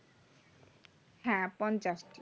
হ্যাঁ পঞ্চাশটি